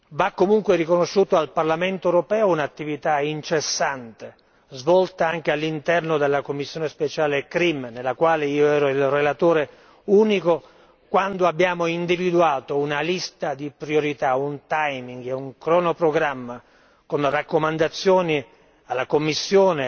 Va comunque riconosciuto al Parlamento europeo un'attività incessante, svolta anche all'interno della commissione speciale CRIM nella quale io ero il relatore unico quando abbiamo individuato una lista di priorità, un timing e un cronoprogramma con raccomandazioni alla Commissione